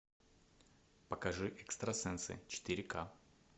покажи экстрасенсы четыре ка